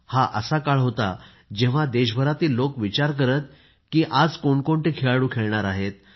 हा असा काळ होता जेव्हा देशभरातील लोकं विचार करायची की आज कोण कोणते खेळाडू खेळणार आहेत